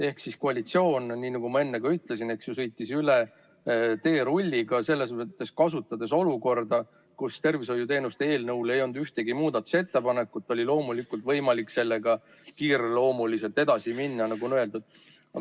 Ehk siis koalitsioon, nii nagu ma enne ka ütlesin, sõitis teerulliga üle selles mõttes, et kasutades olukorda, kus tervishoiuteenuste korraldamise seaduse eelnõu kohta ei olnud ühtegi muudatusettepanekut, oli loomulikult võimalik sellega kiireloomuliselt edasi minna, nagu on öeldud.